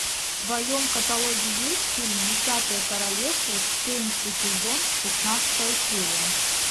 в твоем каталоге есть фильм десятое королевство четырнадцатый сезон шестнадцатая серия